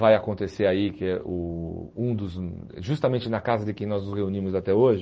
Vai acontecer aí, que eh o um dos hum justamente na casa de quem nós nos reunimos até hoje,